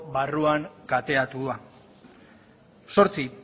barruan kateatuak zortzi